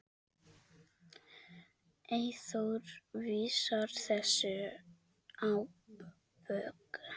Eyþór vísar þessu á bug.